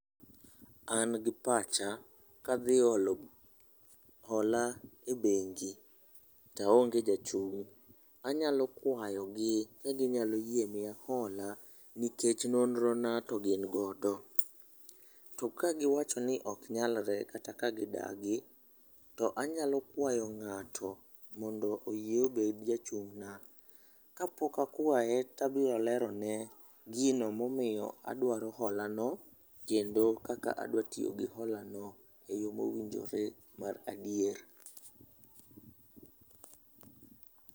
An gi pacha, kadhi holo hola e bengi to aonge jachung',anyalo kwayogi ka ginyalo yie miya hola nikech nonrona to gin godo. To ka giwacho ni ok nyalre kata ka gidagi, to anyalo kwayo ng'ato mondo oyie obed jachung'na. Kapok akwaye, tabiro lerone gino momiyo adwaro holano kendo kaka adwa tiyo gi holano e yo mowinjore mar adier.